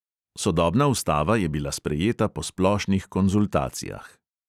Sodobna ustava je bila sprejeta po splošnih konzultacijah.